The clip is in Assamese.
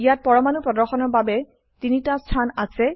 ইয়াত পৰমাণু প্ৰদৰ্শনৰ বাবে ৩ টা স্থান আছে